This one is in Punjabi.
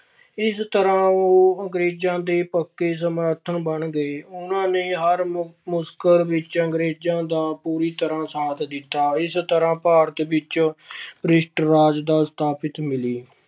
ਇਸ ਤਰ੍ਹਾਂ ਉਹ ਅੰਗਰੇਜ਼ਾਂ ਦੇ ਪੱਕੇ ਸਮਰਥਨ ਬਣ ਗਏ ਉਹਨਾਂ ਨੇ ਹਰ ਮੁ~ ਮੁਸ਼ਕਲ ਵਿੱਚ ਅੰਗਰੇਜ਼ਾਂ ਦਾ ਪੂਰੀ ਤਰ੍ਹਾਂ ਸਾਥ ਦਿੱਤਾ ਇਸ ਤਰ੍ਹਾਂ ਭਾਰਤ ਵਿੱਚ ਭ੍ਰਿਸ਼ਟ ਰਾਜ ਦਾ ਸਥਾਪਿਤ ਮਿਲੀ।